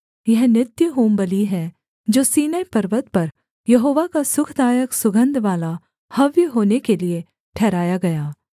यह नित्य होमबलि है जो सीनै पर्वत पर यहोवा का सुखदायक सुगन्धवाला हव्य होने के लिये ठहराया गया